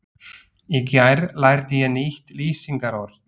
Í gær lærði ég nýtt lýsingarorð.